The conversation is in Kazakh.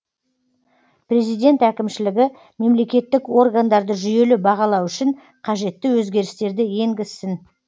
президент әкімшілігі мемлекеттік органдарды жүйелі бағалау үшін қажетті өзгерістерді енгізсін